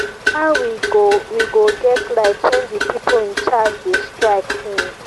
how we go we go get light wen the people in charge dey strike since.